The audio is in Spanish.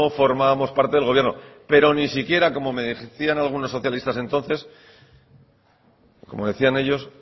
formamos parte del gobierno pero ni siquiera como me insistían algunos socialistas entonces como decían ellos